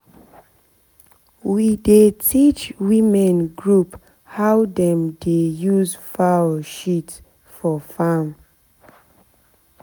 na everybody for our village get hole wey dem dey keep animal shit for back of house now.